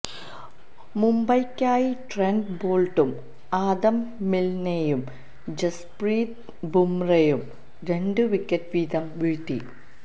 മുംബൈയ്ക്കായി Trent ബോൾട്ടും Adam മിൽനെയും ജസ്പ്രീത് ബുംറയും രണ്ട് വിക്കറ്റ് വീതം വീഴ്ത്തി